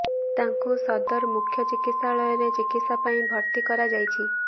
ତାଙ୍କୁ ସଦର ମୁଖ୍ୟ ଚିକିତ୍ସାଳୟରେ ଚିକିତ୍ସା ପାଇଁ ଭର୍ତ୍ତି କରରାଯାଇଛି